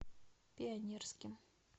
пионерским